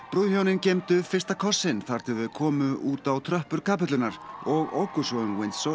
brúðhjónin geymdu fyrsta kossinn þar til þau komu út á tröppur kapellunnar og óku svo um